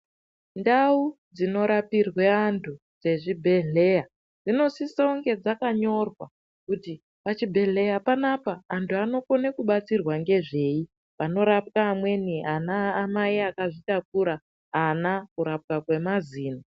Ndau dzinorapirwe antu dzezvibhehleya dzinosiseunge dzakanyorwa kuti pachibhehleya panapa antu anokone kubatsirwa ngezvei panorapwa amweni ana mai akazvitakura ana kurapwa kwemazino